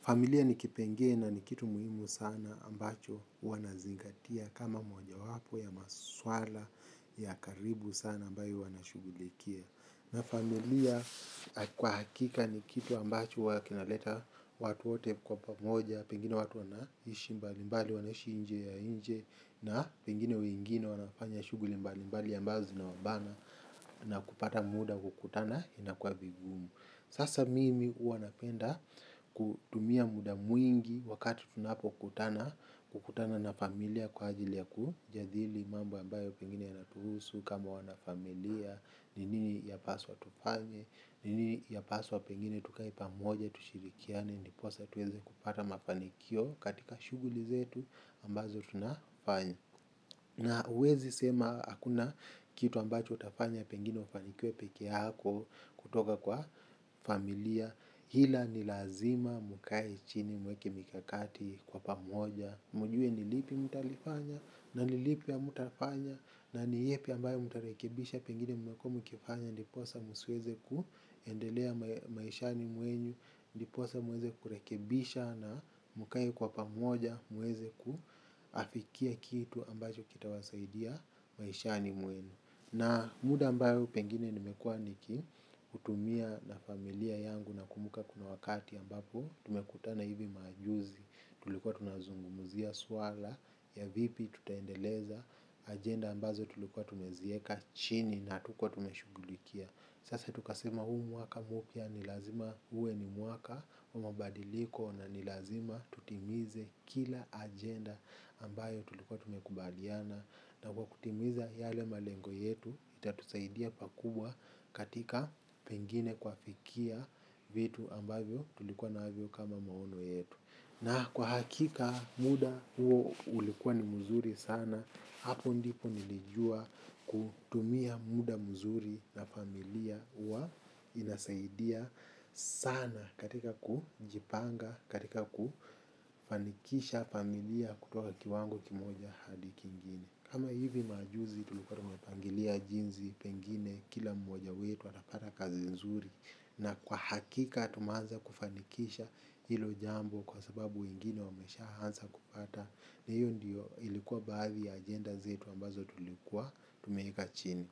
Familia ni kipengele na ni kitu muhimu sana ambacho huwa nazingatia kama mojawapo ya maswala ya karibu sana ambayo huwa nashugulikia. Na familia kwa hakika ni kitu ambacho huwa kinaleta watu wote kwa pamoja, pengine watu wanaishi mbali mbali wanaishi nje ya nje na pengine wengine wanafanya shuguli mbali mbali ambazo zinawabana na kupata muda kukutana inakua vigumu. Sasa mimi huwa napenda kutumia muda mwingi wakati tunapokutana na familia kwa ajili ya kujadili mambo ambayo pengine yanatuhusu kama wanafamilia, ni nini yapaswa tufanye, ni nini yapaswa pengine tukae pamoja tushirikiane, ndiposa tuweze kupata mafanikio katika shuguli zetu ambazo tunafanya. Na huwezi sema hakuna kitu ambacho utafanya pengine ufanikwe peke yako kutoka kwa familia ila ni lazima mukae chini muweke mikakati kwa pamoja. Mjue ni lipi mtalifanya na ni lipi ya mutafanya na ni ipi ambayo utarekebisha pengine mmekuwa mkifanya. Ndiposa msiweze kuendelea maishani mwenyu, ndiposa muweze kurekebisha na mkae kwa pamoja. Muweze kuafikia kitu ambacho kitawasaidia maishani mwenu. Na muda ambayo pengine nimekuwa niki hutumia na familia yangu nakumuka kuna wakati ambapo tumekutana hivi majuzi tulikuwa tunazunguzia suala ya vipi tutaendeleza agenda ambazo tulikuwa tumezieka chini na hatukuwa tumeshugulikia. Sasa tukasema huu mwaka mpya ni lazima uwe ni mwaka wa mabadiliko na ni lazima tutimize kila agenda ambayo tulikuwa tumekubaliana. Na kwa kutimiza yale malengo yetu itatusaidia pakubwa katika pengine kuafikia vitu ambayo tulikuwa navyo kama maono yetu. Na kwa hakika muda huo ulikuwa ni mzuri sana, hapo ndipo nilijua kutumia muda mzuri na familia huwa inasaidia sana katika kujipanga katika kufanikisha familia kutoka kiwango kimoja hadi kingine. Kama hivi majuzi tulikuwa tunapangilia jinsi pengine kila mmoja wetu atapata kazi nzuri na kwa hakika tumeanza kufanikisha hilo jambo kwa sababu wengine wameshaanza kupata na hiyo ndiyo ilikuwa baadhi ya agenda zetu ambazo tulikuwa tumeweka chini.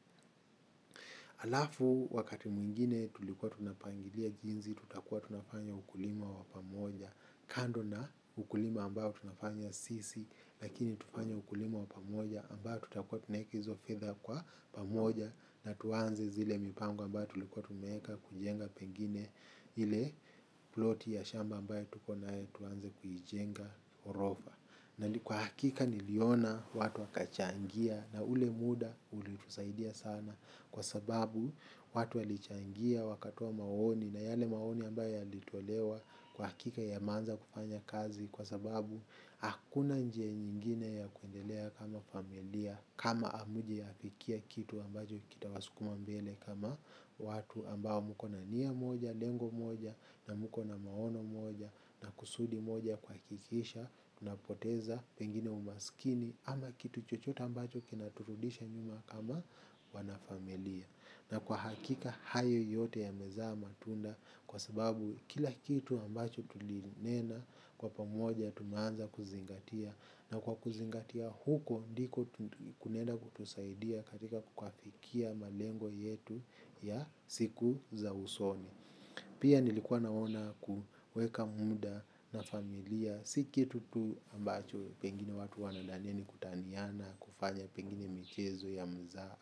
Halafu wakati mwingine tulikuwa tunapangilia jinsi tutakuwa tunafanya ukulima wa pamoja kando na ukulima ambayo tunafanya sisi lakini tufanye ukulima wa pamoja ambayo tutakuwa tunaeka hizo fedha kwa pamoja na tuanze zile mipango ambayo tulikuwa tumeeka kujenga pengine ile ploti ya shamba ambayo tuko nayo tuanze kuijenga ghorofa. Na kwa hakika niliona watu wakachangia na ule muda ulitusaidia sana kwa sababu watu walichangia wakatoa maoni na yale maoni ambayo yalitolewa kwa hakika yameanza kufanya kazi kwa sababu hakuna njia nyingine ya kuendelea kama familia kama hamjaafikia kitu ambacho kitawasukuma mbele kama watu ambao mko na nia moja, lengo moja na mko na maono moja na kusudi moja kuhakikisha tunapoteza pengine umasikini. Ama kitu chochota ambacho kinaturudisha nyuma kama wanafamilia. Na kwa hakika hayo yote yamezaa matunda. Kwa sababu kila kitu ambacho tulinena. Kwa pamoja tunaanza kuzingatia. Na kwa kuzingatia huko ndiko kunaenda kutusaidia katika kuafikia malengo yetu ya siku za usoni. Pia nilikuwa naona kuweka muda na familia. Si kitu tu ambacho pengine watu wanadhania ni kutaniana kufanya pengine michezo ya mzaha.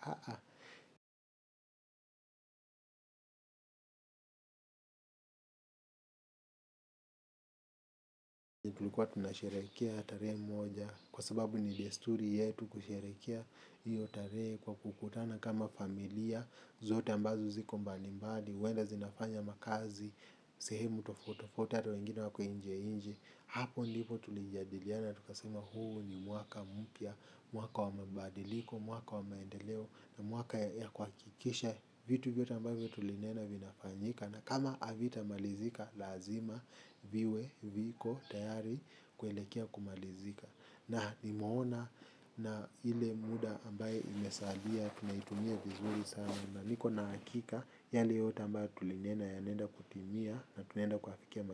Tulikuwa tunasherekea tarehe moja kwa sababu ni desturi yetu kusherekea hiyo tarehe kwa kukutana kama familia. Zote ambazo ziko mbalimbadi, huenda zinafanya makazi, sehemu tofauti tofauti hata wengine wako nje nje hapo ndipo tulijadiliana tukasema huu ni mwaka mpya mwaka wa mabadiliko mwaka wa maendeleo na mwaka ya kuhakikisha vitu vyote ambavyo tulinena vinafanyika na kama havitamalizika lazima viwe viko tayari kuelekea kumalizika na nimeona na ile muda ambayo imesalia tunaitumia vizuri sana na niko na hakika yale yote ambayo tulinena yanaenda kutimia na tunaenda kuafikia yamalizika.